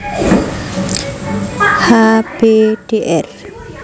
H B Dr